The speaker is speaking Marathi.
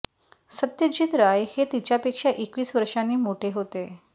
सत्यजित राय हे तिच्यापेक्षा एकवीस वर्षांनी मोठे होते